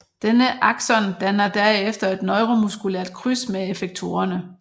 Denne axon danner derefter et neuromuskulært kryds med effektorerne